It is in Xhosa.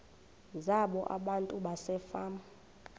zabo abantu basefama